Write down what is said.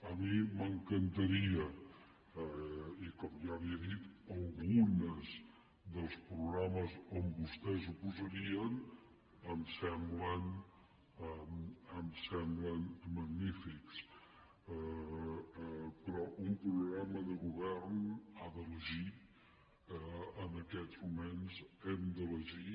a mi m’encantaria i com ja li he dit algunes dels programes on vostès ho posarien em semblen magnífics però un programa de govern ha d’elegir en aquests moments hem d’elegir